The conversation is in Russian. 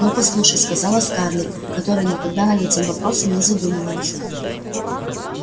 но послушай сказала скарлетт которая никогда над этим вопросом не задумывалась